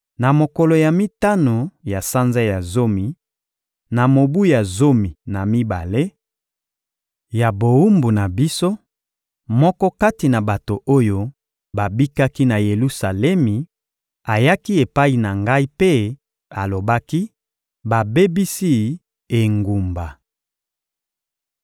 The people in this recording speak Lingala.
Na mokolo ya mitano ya sanza ya zomi, na mobu ya zomi na mibale ya bowumbu na biso, moko kati na bato oyo babikaki na Yelusalemi ayaki epai na ngai mpe alobaki: «Babebisi engumba!»